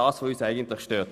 Das stört uns.